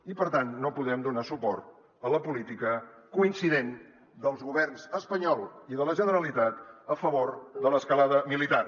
i per tant no podem donar suport a la política coincident dels governs espanyol i de la generalitat a favor de l’escalada militar